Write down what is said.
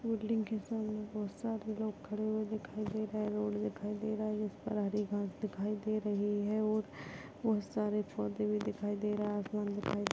building के सामने बहुत सारे लोग खड़े हुए दिखाई दे रहे है रोड दिखाई दे रहा हैं जिस पर हरी घास दिखाई दे रही है और बहुत सारे पौधे भी दिखाई दे रहा है आसमान दिखाई--